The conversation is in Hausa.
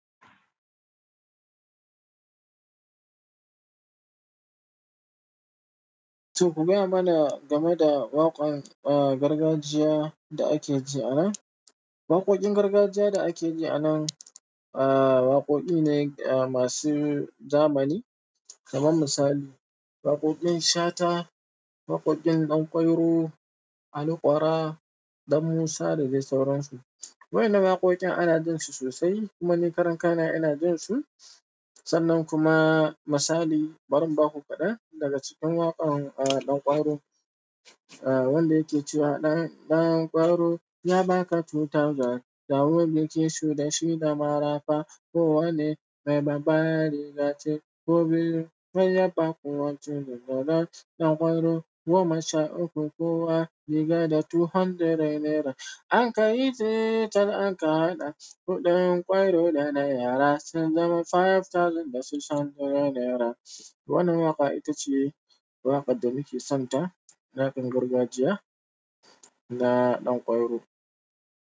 To ku gaya mana game da waƙan, ah, gargajiya da ake ji anan. Waƙoƙin gargajiya da ake ji anan, ah, waƙoƙi ne masu zamani. Kaman misali, waƙoƙin Shata, waƙoƙin Danƙwairo, Ali Ƙwara, Dan Musa da dai sauran su. Waƴannan waƙoƙin ana jin su sosai, kuma ni karan kaina ina jin su. Sannan kuma misali, bari in ba ku kaɗan daga cikin waƙar, ah, Danƙwairo. Ah, wanda yake cewa "Danƙwairo ya baka tuta ja, da wuri ke shuda shida marafa. Ko wane mai babba rigace, ko birin bai yaba kuwa tuni dodon Danƙwairo. Goma sha uku kowa, ya ba da ɗari biyu naira. Anka yi tsitsar anka haɗa huɗuwan ƙwairo da na yara, sun zama dubu biyar da ɗari shida naira." Wannan waƙa ita ce waƙar da muke son ta, waƙar gargajiya na Danƙwairo.